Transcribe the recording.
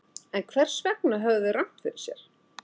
En hvers vegna höfðu þeir rangt fyrir sér?